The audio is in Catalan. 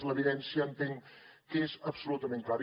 l’evidència entenc que és absolutament clara